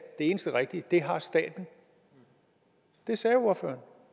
eneste rigtige det har staten det sagde ordføreren